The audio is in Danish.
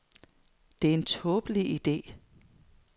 Det er en tåbelig ide.